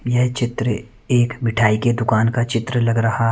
यह चित्र एक मिठाई के दुकान का चित्र लग रहा --